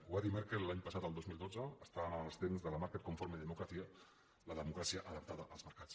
ho va dir merkel l’any passat el dos mil dotze estàvem en els temps de la marktkonforme demokratiemocràcia adaptada als mercats